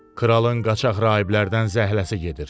Kralın qaçaq rahiblərdən zəhləsi gedir.